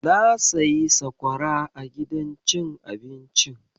Na sayi sakwara a gidan cin abincin jiya.